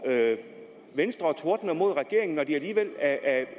og tordner mod regeringen når de alligevel